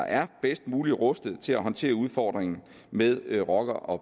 er bedst muligt rustet til at håndtere udfordringen med rocker og